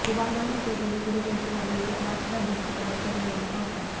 शुभांगी कुलकर्णी पुढील वर्षी अमेरिकेत राष्ट्राध्यक्षपदाच्या निवडणुका होत आहेत